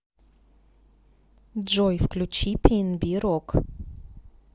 джой включи пиэнби рок